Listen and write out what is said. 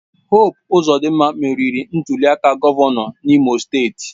Hope Ozodinma meriri ntuliaka gọvanọ n'Imo steeti.